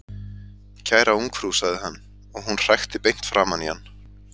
Kæra ungfrú sagði hann, og hún hrækti beint framan í hann.